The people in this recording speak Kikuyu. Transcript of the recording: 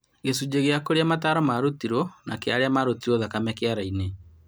Gĩcunjĩ kĩa kũrĩa mataaro marutirwo na kĩa arĩa marutirwo thakame kĩara-inĩ